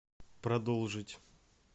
продолжить